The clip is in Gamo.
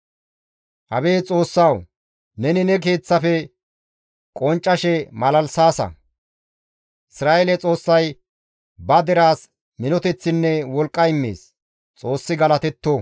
Abeet Xoossawu! Neni ne keeththafe qonccashe malalisaasa; Isra7eele Xoossay ba deraas minoteththinne wolqqa immees. Xoossi galatetto.